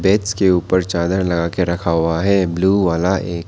beds के ऊपर चादर लगा के रखा हुआ है ब्लू वाला एक--